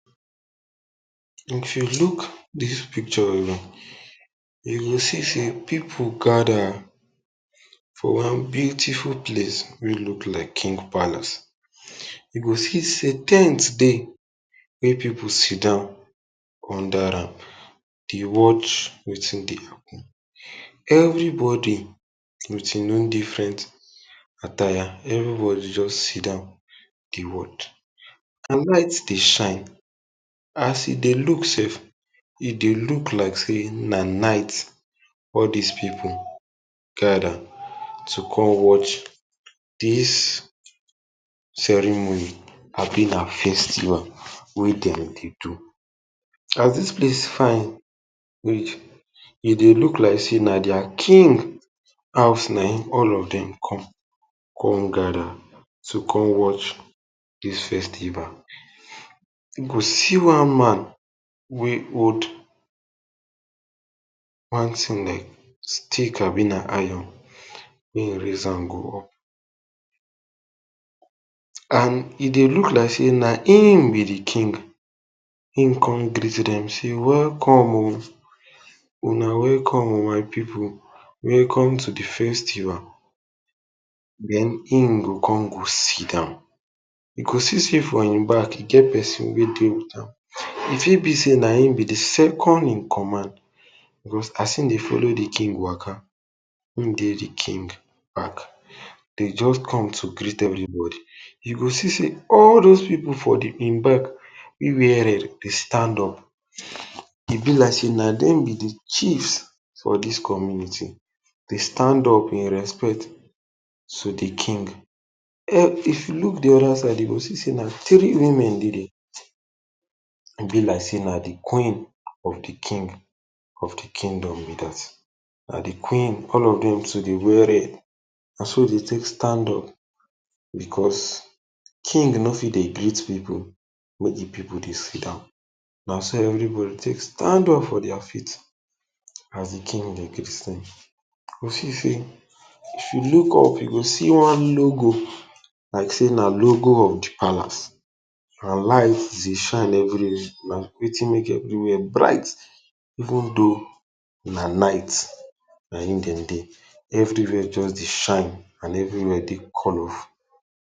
If you look dis picture well, you go see say pipu gather for one beautiful place wey look like king palace. You go see say ten t dey wey pipu sitdon under am dey watch wetin dey happen. Everybody with e own different attire. Everybody just sitdon dey watch and light dey shine. As e dey look sef, e dey look say na night. All dis pipu gather to come watch dis ceremony abi na festival wey dem dey do. As dis place fine reach, e dey look like say na their king house na him all of dem come con gather to watch dis festival. You go see one man wey hold one tin like stick abi na iron wey e raise am go up. And e dey look like say na him be de king. He con greet dem say, “Welcome oh! Una welcome oh my pipu. Welcome to de festival.” Then him go con go sitdon. You go see say for e back, e get pesin wey dey with am. E fit be say na him wey be de second in command. Because as e dey follow de king waka, e dey de king back. Dey just come to greet everybody. You go see say all dem pipu for e back, e wear red dey stand up. E be like say na dem be de chiefs for dis community. Dey stand up in respect to de king. If you look de other side, you go see say na tri women dey there. E be like say na de Queen of de king of de kingdom be dat. And de queen, all of dem too dey wear red. Naso dem take stand up, because king no fit dey greet pipu make pipu dey sitdon. Naso everybody take stand up for dia feet as de king dey greet dem. You see say if you look up, you go see one logo—like say na logo of de palace. And light dey shine everywhere. Na wetin make everywhere bright, even though na night. Na him make everywhere just dey shine and everywhere dey colorful.